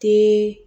Den